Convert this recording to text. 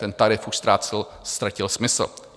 Ten tarif už ztratil smysl.